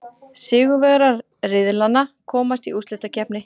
Sigurvegarar riðlanna komast í úrslitakeppni.